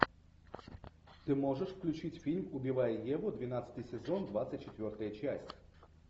ты можешь включить фильм убивая еву двенадцатый сезон двадцать четвертая часть